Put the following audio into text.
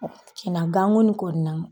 cina ganko in kɔni na